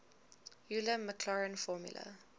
euler maclaurin formula